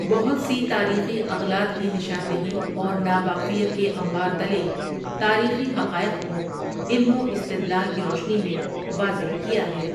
بہت سی تاریخی اغلاط کی نشان دہی اور ناواقفیت کے انبار تلے تاریخی حقائق کو علم و استدلال کی روشنی میں واضح کیا ہے ۔